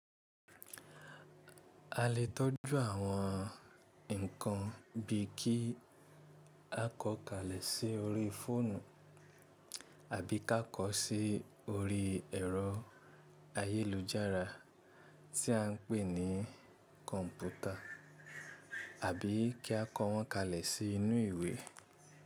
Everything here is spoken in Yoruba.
A lè tọ́jú àwọn ǹkan bíi kí a kọ́ kalẹ̀ sí orí fóònù àbí ká kọ sí orí ẹ̀rọ ayélujára tí à ń pè ní kọ̀ǹpútà àbí kí a kọ wọ́n kalẹ̀ sí inú ìwé.